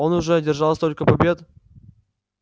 он уже одержал столько побед